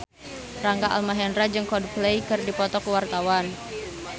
Rangga Almahendra jeung Coldplay keur dipoto ku wartawan